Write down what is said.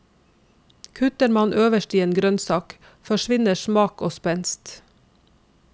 Kutter man øverst i en grønnsak, forsvinner smak og spenst.